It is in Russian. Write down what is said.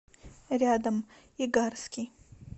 рядом игарский